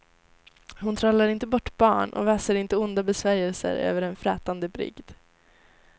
Hon trollar inte bort barn och väser inte onda besvärjelser över en frätande brygd.